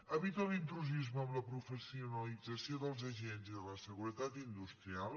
evita l’intrusisme en la professionalització dels agents i de la seguretat industrial